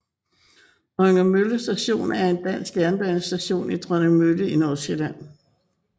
Dronningmølle Station er en dansk jernbanestation i Dronningmølle i Nordsjælland